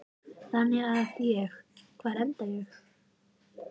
Þannig að ég, hvar enda ég?